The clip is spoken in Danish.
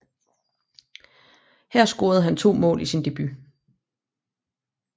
Her scorede han to mål i sin debut